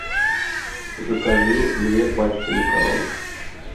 закажи две пачки макарон